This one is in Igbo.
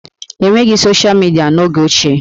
E nweghị soshịa midịa n'oge ochie